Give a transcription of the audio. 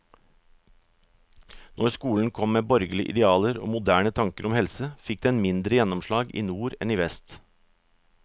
Når skolen kom med borgerlige idealer og moderne tanker om helse, fikk den mindre gjennomslag i nord enn i vest.